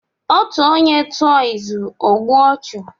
Otu onye tuo izu, o gbue ochu